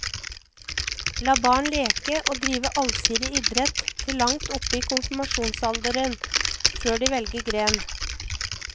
La barn leke og drive allsidig idrett til langt oppe i konfirmasjonsalder, før de velger gren.